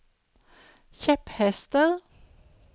kjepphester